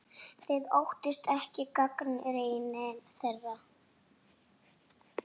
Þið óttist ekki gagnrýni þeirra?